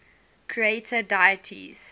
creator deities